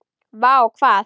Vá hvað?